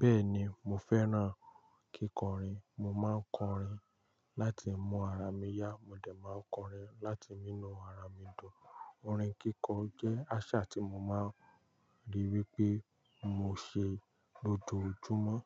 Bẹ́ẹ̀ni mo fẹ́ràn kíkọrin. Mo máa ń kọrin láti mu ara mi yá, mo dẹ̀ máa ń kọrin láti mi nu ara mi dùn. Orin kíkọ jẹ́ àṣà tí mo máa ń ríi wí pé mo ṣe lójoojúmọ́.